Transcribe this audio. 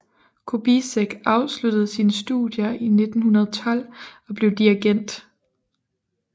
Kubizek afsluttede sine studier i 1912 og blev dirigent